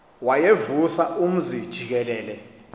wayevusa umzi jikelele